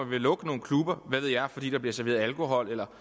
ville lukke nogle klubber fordi der bliver serveret alkohol eller